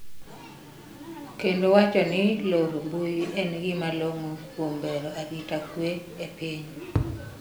kendo wacho ni loro mbui en gima long'o kuom bero arita kwe e piny